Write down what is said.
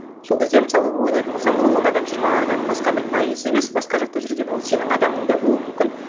сол кезде мысалы ойлайтын болсам он адам жиырма адам басқа бір пайыз емес басқа жақта жүрген ол сенің адамың да болуы мүмкін